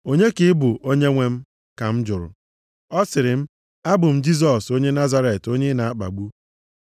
“ ‘Onye ka ị bụ Onyenwe m?’ Ka m jụrụ. “Ọ sịrị m, ‘Abụ m Jisọs onye Nazaret onye ị na-akpagbu.’